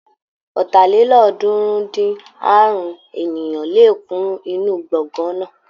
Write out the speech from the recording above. Ọ̀tàlélọ́ọ̀ọ́dúnrún-dín-àrún ènìyàn lè kún inú gbọ̀ngán náà.